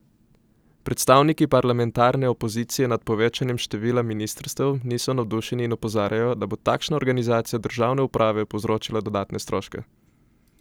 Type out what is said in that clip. Predstavniki parlamentarne opozicije nad povečevanjem števila ministrstev niso navdušeni in opozarjajo, da bo takšna organizacija državne uprave povzročila dodatne stroške.